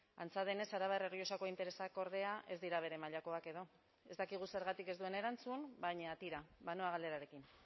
antza denez arabar errioxako interesak ordea ez dira bere mailakoak edo ez dakigu zergatik ez duen erantzun baina tira banoa galerarekin